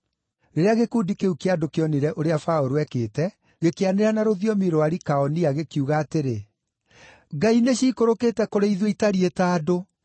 Rĩrĩa gĩkundi kĩu kĩa andũ kĩonire ũrĩa Paũlũ eekĩte, gĩkĩanĩrĩra na rũthiomi rwa Likaonia gĩkiuga atĩrĩ, “Ngai nĩciikũrũkĩte kũrĩ ithuĩ itariĩ ta andũ!”